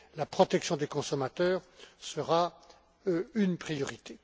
La protection des consommateurs sera une priorité.